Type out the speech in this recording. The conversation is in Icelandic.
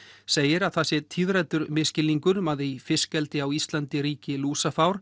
segir að það sé misskilningur um að í fiskeldi á Íslandi ríki lúsafár